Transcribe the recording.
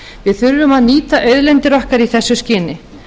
við þurfum að nýta auðlindir okkar í þessu skyni